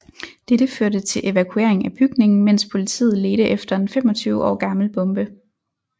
Dette førte til evakuering af bygningen mens politiet ledte efter en 25 år gammel bombe